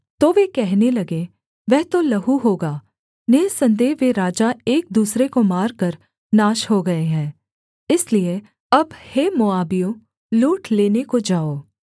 तो वे कहने लगे वह तो लहू होगा निःसन्देह वे राजा एक दूसरे को मारकर नाश हो गए हैं इसलिए अब हे मोआबियों लूट लेने को जाओ